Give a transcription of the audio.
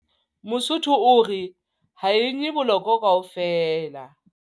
Mosotho o re, ha e nye bolokwe kaofela.